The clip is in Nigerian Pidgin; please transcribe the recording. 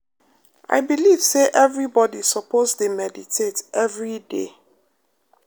i believe say everybody suppose dey meditate every day.